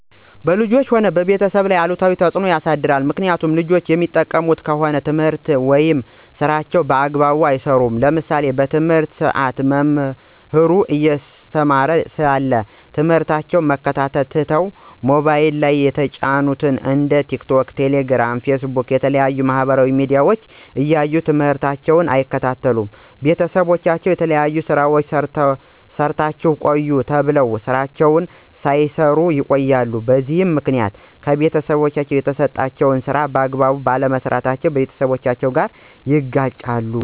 በልጆች ሆነ በቤተሰብ ላይ አሉታዊ ተፅዕኖ ያሳድራል። ምክኒያቱም ልጆች የሚጠቀሙ ከሆነ ትምህርታቸውን ወይም ስራቸውን በአግባቡ አይሰሩም። ለምሳሌ በትምህርት ሰአት መምህሩ እያስተማረ ሳለ ትምህርታቸውን መከታተል ትተው በሞባይል ላይ የተጫኑትን እንደ ቲክቶክ፣ ቴሌግራም፣ ፌስቡክ እና የተለያዩ የማህበራዊ ሚዲያዎች እያዩ ትምህርታቸውን አይከታተሉም። ቤተሰቦቻቸው የተለያዩ ስራዎችን ሰርታችሁ ቆዩ ተብለው ስራዎችን ሳይሰሩ ይቀራሉ። በዚህ ምክኒያት ከቤተሰቦቻቸው የተሰጣቸውን ስራ በአግባቡ ባለመስራታቸው ከቤተሰቦቻቸው ጋር ይጋጫሉ።